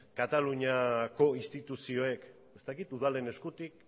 kataluniako instituzioek ez dakit udalen eskutik